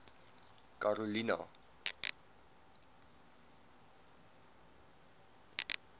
karolina